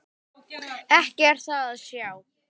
Ekki er það að sjá.